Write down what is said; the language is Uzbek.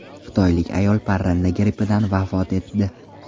Xitoylik ayol parranda grippidan vafot etdi.